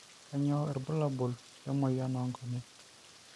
kainyioo irbulabol lemoyian oonkonyek